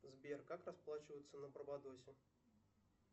сбер как расплачиваться на барбадосе